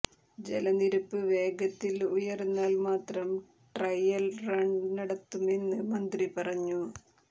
ജലനിരപ്പ് വേഗത്തിൽ ഉയർന്നാൽ മാത്രം ട്രയൽ റൺ നടത്തുമെന്ന് മന്ത്രി പറഞ്ഞു